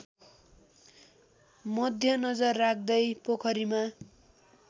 मध्यनजर राख्दै पोखरीमा